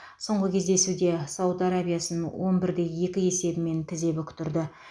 соңғы кездесуде сауд арабиясын он бір де екі есебімен тізе бүктірді